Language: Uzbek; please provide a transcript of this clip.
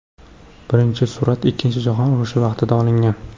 Birinchi surat ikkinchi jahon urushi vaqtida olingan.